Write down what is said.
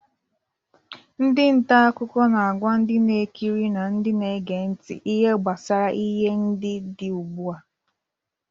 Ndị nta akụkọ na-agwa ndị na-ekiri na ndi na-ege nti ihe gbasara ihe ndị dị ugbu a.